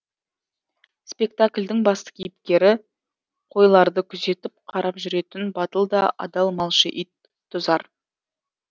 спектаклдің басты кейіпері қойларды күзетіп қарап жүретін батыл да адал малшы ит тұзар